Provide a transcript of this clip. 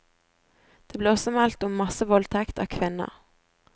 Det ble også meldt om massevoldtekt av kvinner.